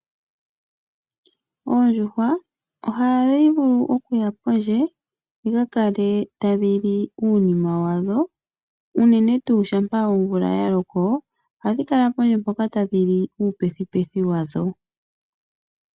Oondjuhwa ohadhi vulu okuya pondje dhika kale tadhi li uunima wadho unene tuu shampa omvula ya loko ohadhi kala pondje mpoka tadhi li uupethi pethi wadho.